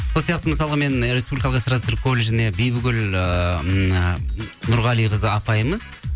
сол сияқты мысалға мен республикалық эстарда цирк колледжіне бибігүл ыыы нұрғалиқызы апайымыз